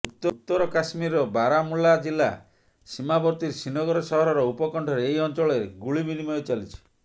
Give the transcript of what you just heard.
ଉତ୍ତର କାଶ୍ମୀରର ବାରାମୁଲ୍ଲା ଜିଲ୍ଲା ସୀମାବର୍ତ୍ତୀ ଶ୍ରୀନଗର ସହରର ଉପକଣ୍ଠରେ ଏହି ଅଞ୍ଚଳରେ ଗୁଳି ବିନିମୟ ଚାଲିଛି